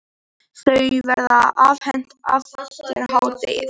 Þau verða afhent eftir hádegið.